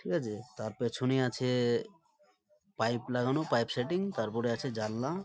ঠিক আছে। তার পেছনেই আছে পাইপ লাগানো পাইপ সেটিং । তারপরে আছে জানলা।